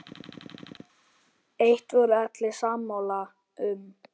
Eitt voru allir sammála um.